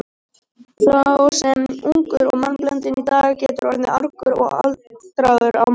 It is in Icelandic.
Sá sem er ungur og mannblendinn í dag getur orðið argur og aldraður á morgun.